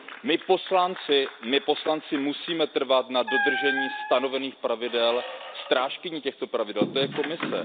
My poslanci musíme trvat na dodržení stanovených pravidel, strážkyní těchto pravidel je Komise.